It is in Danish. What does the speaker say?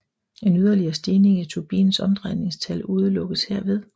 En yderligere stigning i turbinens omdrejningstal udelukkes herved